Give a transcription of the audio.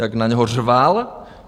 Jak na něj řval?